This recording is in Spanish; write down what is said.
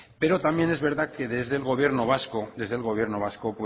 pero también es verdad que desde el gobierno vasco